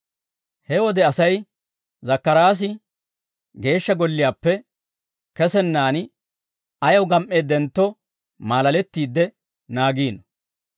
He wode asay, Zakkaraasi Geeshsha Golliyaappe kesennaan ayaw gam"eeddentto maalalettiidde naagiino.